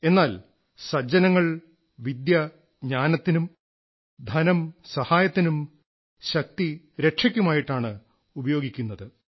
എന്നാൽ സജ്ജനങ്ങൾ വിദ്യ ജ്ഞാനത്തിനും ധനം സഹായത്തിനും ശക്തി രക്ഷയ്ക്കുമായിട്ടാണ് ഉപയോഗിക്കുന്നത്